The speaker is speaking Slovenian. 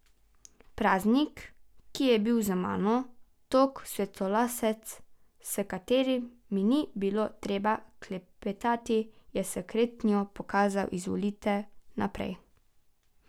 Paznik, ki je bil z mano, tog svetlolasec, s katerim mi ni bilo treba klepetati, je s kretnjo pokazal izvolite naprej.